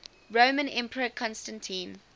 roman emperor constantine